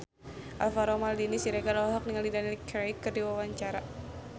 Alvaro Maldini Siregar olohok ningali Daniel Craig keur diwawancara